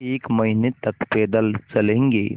एक महीने तक पैदल चलेंगे